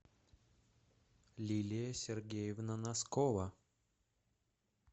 лилия сергеевна носкова